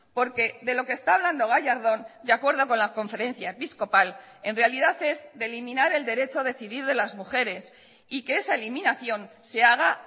porque de lo que está hablando gallardón de acuerdo con la conferencia episcopal en realidad es de eliminar el derecho a decidir de las mujeres y que esa eliminación se haga